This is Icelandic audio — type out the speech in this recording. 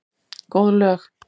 Góð lög.